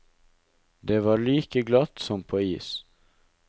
Det var like glatt som på is!